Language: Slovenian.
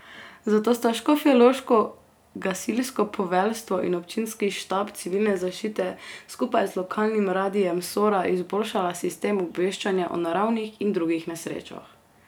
Zato sta škofjeloško gasilsko poveljstvo in občinski štab civilne zaščite skupaj z lokalnim Radiem Sora izboljšala sistem obveščanja o naravnih in drugih nesrečah.